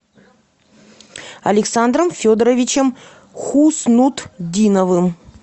александром федоровичем хуснутдиновым